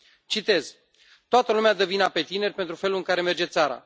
Citez Toată lumea dă vina pe tineri pentru felul în care merge țara.